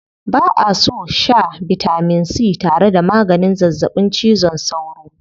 Ba'a so a shaa bitamin c tare da maganin zazzaɓin cizon sauro.